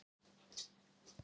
Til hamingju Ísland.